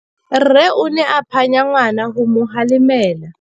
Rre o ne a phanya ngwana go mo galemela.